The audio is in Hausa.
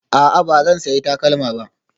A'a, ba zan sayi takalma ba